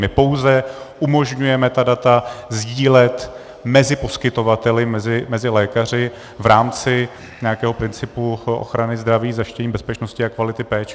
My pouze umožňujeme ta data sdílet mezi poskytovateli, mezi lékaři v rámci nějakého principu ochrany zdraví, zajištění bezpečnosti a kvality péče.